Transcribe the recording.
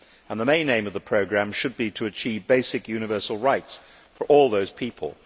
The main aim of the programme should be to achieve basic universal rights for all those people.